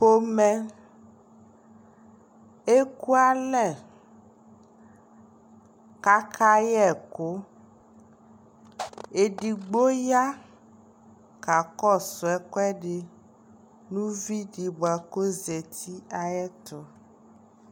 pɔmɛ ɛkʋalɛ kʋ aka yɛkʋ, ɛdigbɔ ya ka kɔsʋ ɛkʋɛdi nʋ ʋvidi kɔ zati ayɛtʋ